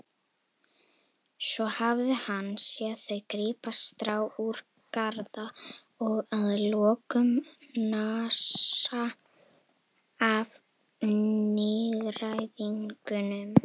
Svo hafði hann séð þau grípa strá úr garða og að lokum nasa af nýgræðingnum.